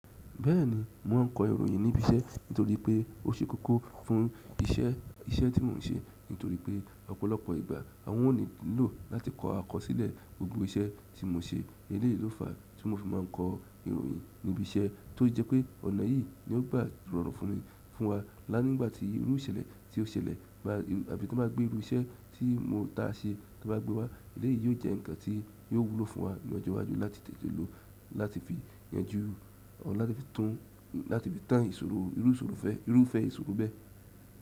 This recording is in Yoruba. Bẹ́ẹ̀ni mò ń kọ ìròyìn níbi iṣẹ́ nítorí pé ó ṣe kókó fún iṣẹ́, iṣẹ́ tí mò ń ṣe nítorí pé ọ̀pọ̀lọpọ̀ ìgbà àwọn o nílò láti kọ àkọsílẹ̀ gbogbo iṣẹ́ tí mò ń ṣe. Eléyìí ló fàá tí mò fi máa ń kọ ìròyìn ní ibi iṣẹ́ tó jẹ́ pé ọ̀nà yìí ni ó gbà rọrùn fún wa. Lá nígbà tí irú ìṣẹ̀lẹ̀ tí ó ṣẹlẹ̀ bá àbí tí wọ́n bá gbé irú iṣẹ́ tí mo ta ṣẹ́ tí wọ́n bá gbé wá eléyìí yóò jẹ́ ǹkan tí yóò wúlò fún wa ní ọjọ́ iwájú láti tètè lò láti fi yanjú or láti fi tan láti fi tán ìṣòro, irú ìṣòro irúfẹ́ ìṣòro bẹ́ẹ̀.